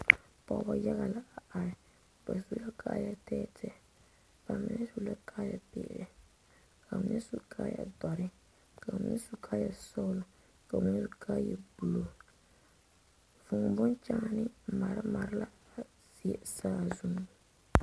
Pɔgeba yage la a are ba su la kaayɛ tɛɛtɛɛ ba mine su la kaayɛ peɛle ka ba.mine su kaayɛ dɔrɔ ba su kaayɛ sɔglɔka ba mine su kaayɛ buluu vuu boŋkaane mare mare.la a die saazu